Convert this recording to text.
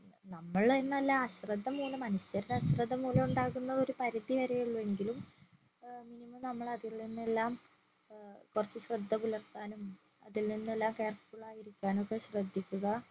നമ്മൾ എന്നല്ല അശ്രദ്ധമൂലം മനുഷ്യരുടെ അശ്രദ്ധ മൂലം ഉണ്ടാകുന്ന ഒരു പരിധിവരെ ഉള്ളു എങ്കിലും ഏർ minimum നമ്മൾ അതിൽ നിന്നെല്ലാം ഏർ കൊറച്ചു ശ്രദ്ധപുലർത്താനും അതിൽ നിന്നെല്ലാം careful ആയിരിക്കാനൊക്കെ ശ്രദ്ധിക്കുക